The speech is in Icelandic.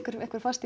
einhver fasti